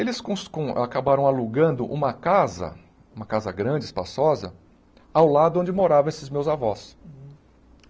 Eles cons con acabaram alugando uma casa, uma casa grande, espaçosa, ao lado onde moravam esses meus avós.